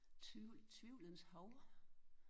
Tvivl tvivlens hav